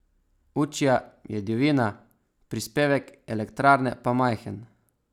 Učja je divjina, prispevek elektrarne pa majhen.